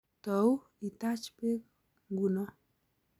Tou itaach beek nguno